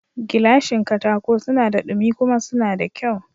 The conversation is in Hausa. Gilashin katako suna da dumi kuma suna da kyau